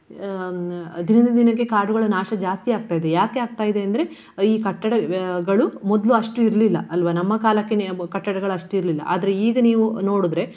ಅಹ್ ಹ್ಮ್ ದಿನದಿಂದ ದಿನಕ್ಕೆ ಕಾಡುಗಳ ನಾಶ ಜಾಸ್ತಿಯಾಗ್ತ ಇದೆ ಯಾಕೆ ಆಗ್ತ ಇದೆ ಅಂದ್ರೆ ಈ ಕಟ್ಟಡಗಳು ಮೊದ್ಲು ಅಷ್ಟು ಇರ್ಲಿಲ್ಲ ಅಲ್ವಾ. ನಮ್ಮ ಕಾಲಕ್ಕೆನೇ ಕಟ್ಟಡಗಳು ಅಷ್ಟು ಇರ್ಲಿಲ್ಲ. ಆದ್ರೆ ಈಗ ನೀವು ನೋಡಿದ್ರೆ